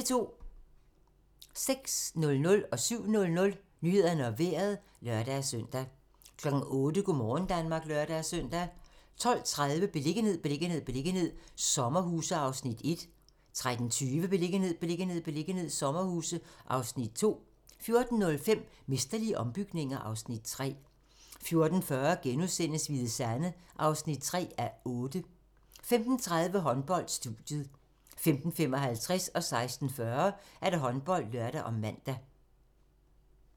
06:00: Nyhederne og Vejret (lør-søn) 07:00: Nyhederne og Vejret (lør-søn) 08:00: Go' morgen Danmark (lør-søn) 12:30: Beliggenhed, beliggenhed, beliggenhed - sommerhuse (Afs. 1) 13:20: Beliggenhed, beliggenhed, beliggenhed - sommerhuse (Afs. 2) 14:05: Mesterlige ombygninger (Afs. 3) 14:40: Hvide Sande (3:8)* 15:30: Håndbold: Studiet 15:55: Håndbold (lør og man) 16:40: Håndbold (lør og man)